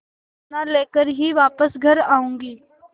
दाना लेकर ही वापस घर आऊँगी